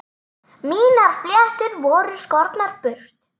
Mínar fléttur voru skornar burt.